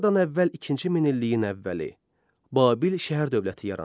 Eradan əvvəl ikinci minilliyin əvvəli Babil şəhər dövləti yarandı.